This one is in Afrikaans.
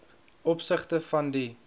opsigte van die